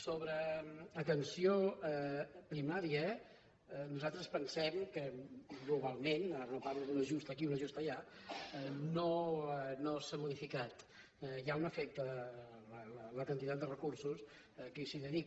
sobre atenció primària nosaltres pensem que globalment ara no parlo d’un ajust aquí un ajust allà no s’ha modificat la quantitat de recursos que s’hi dedica